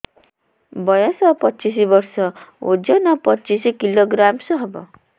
ବୟସ ପଚିଶ ବର୍ଷ ଓଜନ ପଚିଶ କିଲୋଗ୍ରାମସ ହବ